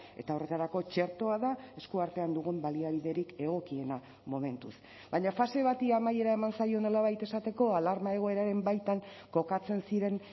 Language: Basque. eta horretarako txertoa da esku artean dugun baliabiderik egokiena momentuz baina fase bati amaiera eman zaio nolabait esateko alarma egoeraren baitan kokatzen ziren